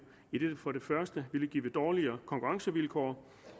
idet det for det første ville give dårligere konkurrencevilkår